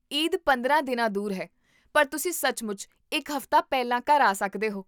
ਈਦ ਪੰਦਰਾਂ ਦਿਨਾਂ ਦੂਰ ਹੈ, ਪਰ ਤੁਸੀਂ ਸੱਚਮੁੱਚ ਇੱਕ ਹਫ਼ਤਾ ਪਹਿਲਾਂ ਘਰ ਆ ਸਕਦੇ ਹੋ